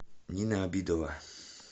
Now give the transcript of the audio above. нина обидова